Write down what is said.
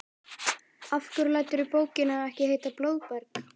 Af hverju læturðu bókina ekki heita Blóðberg?